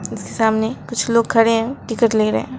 सामने कुछ लोग खड़े हैं टिकट ले रहे हैं।